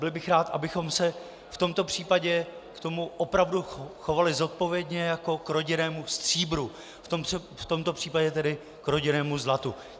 byl bych rád, abychom se v tomto případě k tomu opravdu chovali zodpovědně jako k rodinnému stříbru - v tomto případě tedy k rodinnému zlatu.